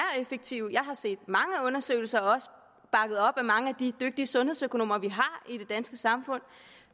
effektivt jeg har set mange undersøgelser bakket op af mange af de dygtige sundhedsøkonomer vi har i det danske samfund